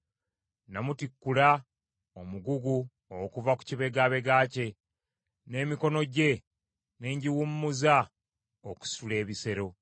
“Nnamutikkula omugugu okuva ku kibegabega kye; n’emikono gye ne ngiwummuza okusitula ebisero.